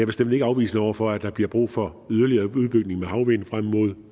bestemt ikke afvisende over for at der bliver brug for yderligere udbygning med havvind frem mod